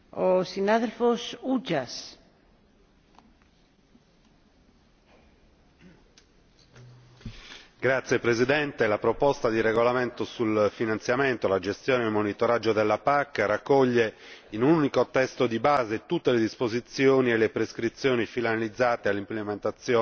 Signor Presidente, la proposta di regolamento sul finanziamento, la gestione e il monitoraggio della PAC raccoglie in un unico testo di base tutte le disposizioni e le prescrizioni finalizzate all'implementazione